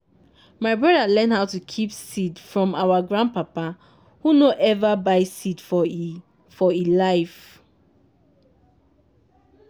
my broda learn how to keep seed from our grandpapa who nor ever buy seed for e for e life.